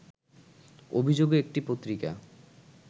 অভিযোগে একটি পত্রিকা